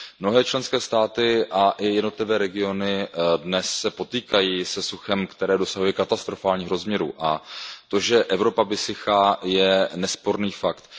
Mnohé členské státy a i jednotlivé regiony se dnes potýkají se suchem, které dosahuje katastrofálních rozměrů, a to, že Evropa vysychá, je nesporný fakt.